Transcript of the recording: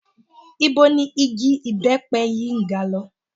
Ibo ni igi ìbẹ́pẹ yìí ń ga lọ?